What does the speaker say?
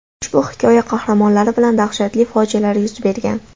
Ushbu hikoya qahramonlari bilan dahshatli fojialar yuz bergan.